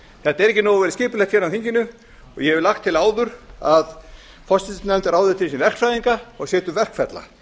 þetta er ekki nógu vel skipulagt hér á þinginu og ég hef lagt til áður að forsætisnefnd ráði til sín verkfræðinga og setji upp verkferla